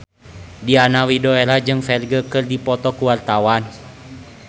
Diana Widoera jeung Ferdge keur dipoto ku wartawan